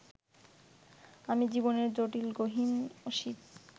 আমি জীবনের জটিল-গহিন-অসিত